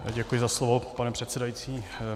Děkuji za slovo, pane předsedající.